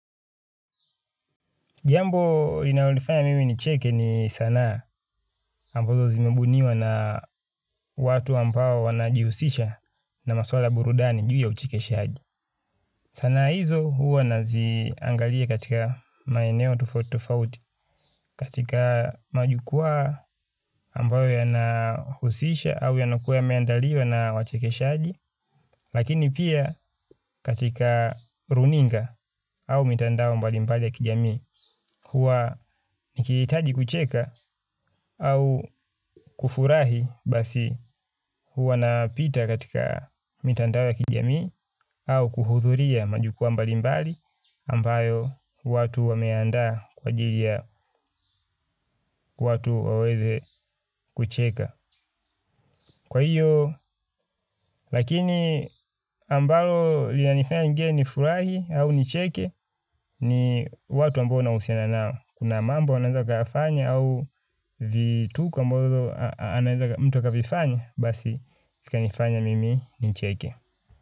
Jambo inayonifanya mimi nicheke ni sanaa ambazo zimembuniwa na watu ampao wanajihusisha na maswala ya burudani juu ya uchekeshaji. Sanaa hizo huwa naziangalia katika maeneo tofauti tofauti, katika majukwaa ambayo yanahusisha au yanakuwa yameandaliwa na wachekeshaji. Lakini pia katika runinga au mitandao mbalimbali ya kijamii huwa nikihitaji kucheka au kufurahi basi huwa napita katika mitandao ya kijamii au kuhudhuria majukwaa mbalimbali ambayo watu wameandaa kwa ajiri ya watu waweze kucheka. Kwa hiyo, lakini ambalo linanifanya ingine nifurahi au nicheke ni watu ambao nahusina nao. Kuna mambo anaeza akayafanya au vituko ambavyo anaeza mtu akavifanya, basi vikanifanya mimi nicheke.